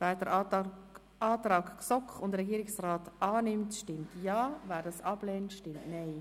Wer diesen Antrag annimmt, stimmt Ja, wer diesen ablehnt, stimmt Nein.